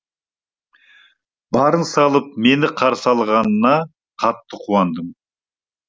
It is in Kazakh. барын салып мені қарсы алғанына қатты қуандым